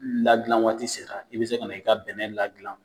Ladilanwaati sera i bɛ se ka na i ka bɛnɛ ladilan